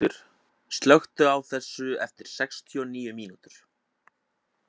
Áshildur, slökktu á þessu eftir sextíu og níu mínútur.